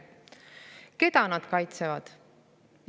Keda nad kaitsevad?